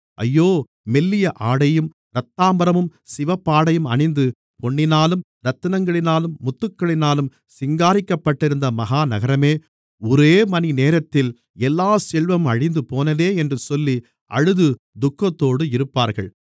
ஐயோ மெல்லிய ஆடையும் இரத்தாம்பரமும் சிவப்பாடையும் அணிந்து பொன்னினாலும் இரத்தினங்களினாலும் முத்துக்களினாலும் சிங்காரிக்கப்பட்டிருந்த மகா நகரமே ஒரே மணிநேரத்தில் எல்லாச் செல்வமும் அழிந்துபோனதே என்று சொல்லி அழுது துக்கத்தோடு இருப்பார்கள்